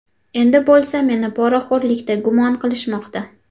Endi bo‘lsa meni poraxo‘rlikda gumon qilishmoqda.